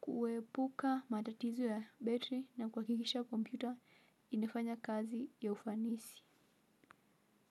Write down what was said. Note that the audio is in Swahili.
kuepuka matatizo ya battery na kuha kikisha kompyuta inafanya kazi ya ufanisi.